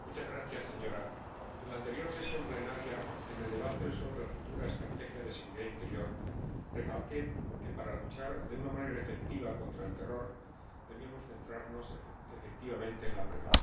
Señora Presidenta, en la anterior sesión plenaria, en el debate sobre la futura estrategia de seguridad interior, recalqué que, para luchar de una manera efectiva contra el terror, debíamos centrarnos, efectivamente, en la prevención.